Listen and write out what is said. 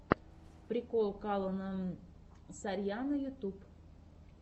прикол калона сарьяно ютюб